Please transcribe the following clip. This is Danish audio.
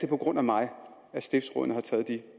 på grund af mig at stiftsrådene har taget de